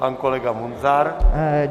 Pan kolega Munzar.